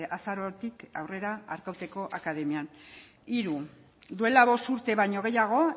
azarotik aurrera arkauteko akademian hiru duela bost urte baino gehiago